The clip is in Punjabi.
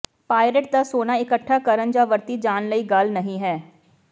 ਪਾਇਰੇਟ ਦਾ ਸੋਨਾ ਇਕੱਠਾ ਕਰਨ ਜਾਂ ਵਰਤੀ ਜਾਣ ਵਾਲੀ ਗੱਲ ਨਹੀਂ ਹੈ